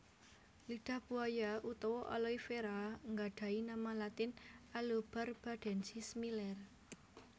Lidah buaya utawa aloe vera gadhahi nama latin Aloebarbadensis Miller